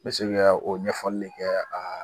Bɛ o ɲɛfɔli de kɛ aa